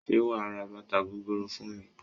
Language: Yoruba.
Ṣé wà á ra bàtà gogoro fún mi?